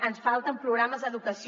ens falten programes d’educació